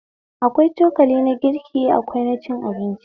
Akwai cokali na girki akwai na cin abinci